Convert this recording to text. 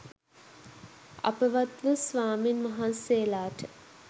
අපවත් වූ ස්වමින්වහන්සේලාට